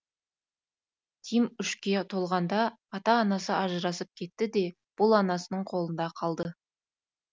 тим үшке толғанда ата анасы ажырасып кетті де бұл анасының қолында қалды